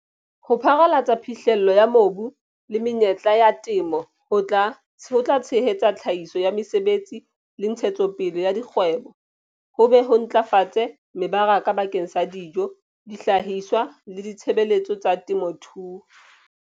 Ho pharalatsa phihlello ya mobu le menyetla ya temo ho tla tshehetsa tlhahiso ya mesebetsi le ntshetsopele ya dikgwebo, ho be ho ntlafatse mebaraka bakeng sa dijo, dihlahiswa le ditshebeletso tsa temothuo.